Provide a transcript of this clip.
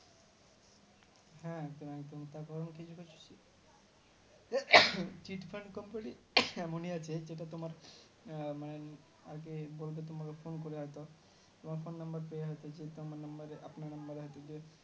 হ্যাঁ এমন আছে cheat fund company মনে আছে সেটা তোমার মানে এই আহ হ্যাঁ বলে তোমাকে phone করি হয়তো তোমার phone number হয়তো আমার